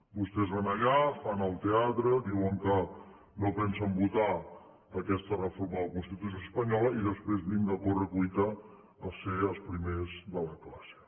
vostès van allà fan el teatre diuen que no pensen votar aquesta reforma de la constitució espanyola i després vinga a corre cuita a ser els primers de la classe